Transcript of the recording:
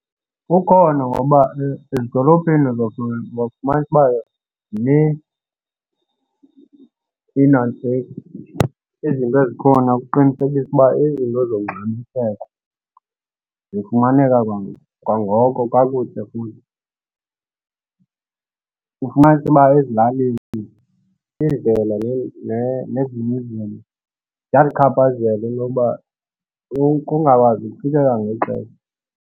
Ukhona ngoba ezidolophini uzofumanisa uba zinintsi iinantsika, izinto ezikhona ukuqinisekisa ukuba izinto zongxamiseko zifumaneka kwangoko kakuhle futhi. Ufumanise uba ezilalini iindlela nezinye izinto ziyalichaphazele into yokuba kungakwazi ukufikeka ngexesha